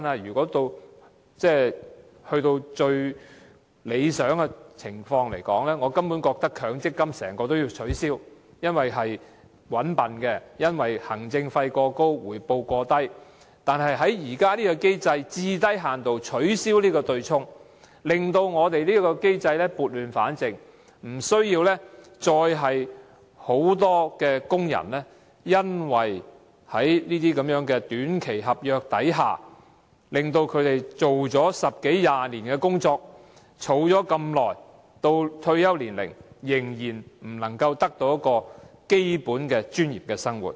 以最理想的情況來說，我根本認為整個強積金制度也要取消，因為這制度"搵笨"、行政費過高及回報過低，但現在最低限度要取消對沖機制，撥亂反正，不要再讓大量工人因為在短期合約下工作了十多二十年，儲蓄了這麼久，到退休時仍然不能得到保障，過具最基本尊嚴的生活。